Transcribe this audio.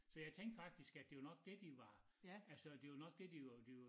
Så jeg tænkte faktisk at de var nok dét de var altså det var nok dét de var de var